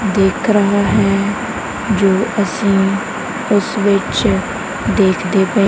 ਦਿੱਖ ਰਹਾ ਹੈ ਜੋ ਅੱਸੀਂ ਉੱਸ ਵਿੱਚ ਦੇਖਦੇ ਪਏ।